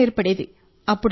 అవసరం ఏర్పడేది